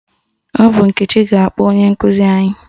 Ọ bụ Nkechi ga-akpọ onye nkụzi anyị?